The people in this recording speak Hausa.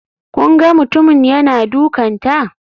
Kun ga mutumin yana dukanta?